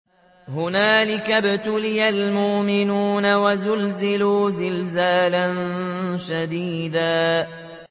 هُنَالِكَ ابْتُلِيَ الْمُؤْمِنُونَ وَزُلْزِلُوا زِلْزَالًا شَدِيدًا